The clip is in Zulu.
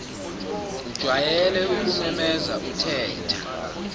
ujwayele ukumemeza uthetha